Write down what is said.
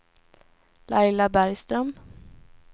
Laila Bergström